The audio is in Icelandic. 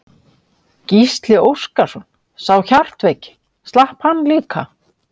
Gísli Óskarsson: Sá hjartveiki, slapp hann líka?